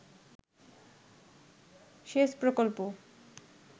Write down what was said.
সেচ প্রকল্প